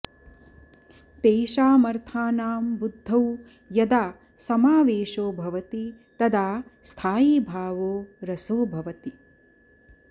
तेषामर्थानां बुद्धौ यदा समावेशो भवति तदा स्थायी भावो रसो भवति